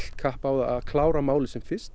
kapp á að klára málið sem fyrst